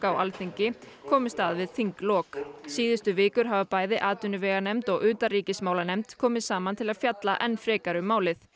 á Alþingi komust að við þinglok síðustu vikur hafa bæði atvinnuveganefnd og utanríkismálanefnd komið saman til að fjalla enn frekar um málið